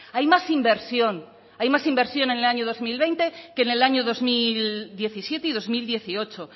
hay más inversión hay más inversión en el año dos mil veinte que en el año dos mil diecisiete y dos mil dieciocho